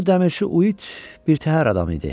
Həmin o dəmirçi Uit birtəhər adam idi.